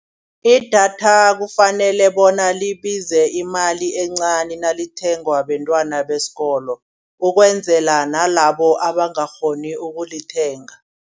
Idatha kufanele bona libize imali encani nalithengwa bentwana besikolo. Ukwenzela nalabo abangakghoni ukulithenga